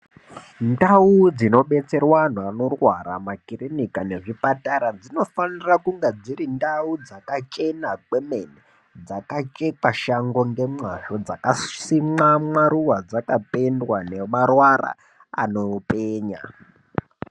Ntau dzinobetsere vantu vanorwara makirinika ngezvipatara dzinofanire kunge dziri ntau dzakachena kwemene. Dzakachekwa shango ngemazvo, dzakasimwa mwaruva, dzakapendwa nemawara anopenya.